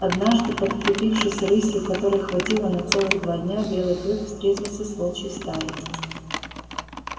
однажды подкрепившись рысью которой хватило на целых два дня белый клык встретился с волчьей стаей